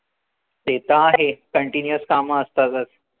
तेत आहे continuous काम असतातच